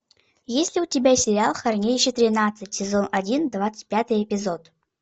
есть ли у тебя сериал хранилище тринадцать сезон один двадцать пятый эпизод